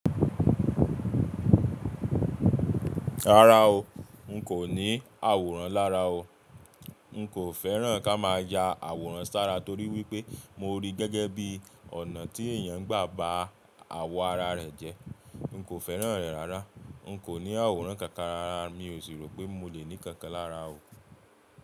Rárá o, n kò ní àwòrán lára o. N kò fẹ́ràn ká má a ya àwòrán sára torí wípé mo rí gẹ́gẹ́ bí ọ̀nà tí èèyàn gbà bá àwọ̀ ara rẹ̀ jẹ. N kò fẹ́ràn rẹ̀ rárá. N kò ní àwòrán kankan rárá, mi ò sì rò pé mo lè ní kankan lára o.